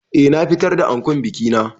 Eh na fitar da ankon biki na.